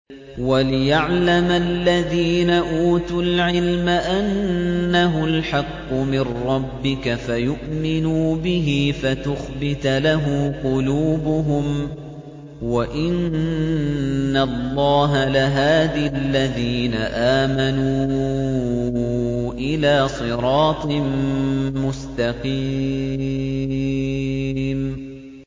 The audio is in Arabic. وَلِيَعْلَمَ الَّذِينَ أُوتُوا الْعِلْمَ أَنَّهُ الْحَقُّ مِن رَّبِّكَ فَيُؤْمِنُوا بِهِ فَتُخْبِتَ لَهُ قُلُوبُهُمْ ۗ وَإِنَّ اللَّهَ لَهَادِ الَّذِينَ آمَنُوا إِلَىٰ صِرَاطٍ مُّسْتَقِيمٍ